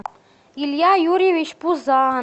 илья юрьевич